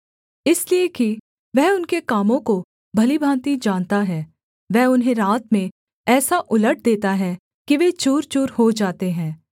इसलिए कि वह उनके कामों को भली भाँति जानता है वह उन्हें रात में ऐसा उलट देता है कि वे चूरचूर हो जाते हैं